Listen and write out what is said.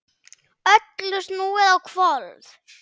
Öllu snúið á hvolf.